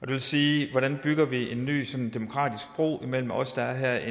det vil sige hvordan vi bygger en ny sådan demokratisk bro imellem os der er